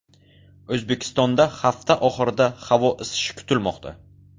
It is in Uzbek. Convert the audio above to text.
O‘zbekistonda hafta oxirida havo isishi kutilmoqda.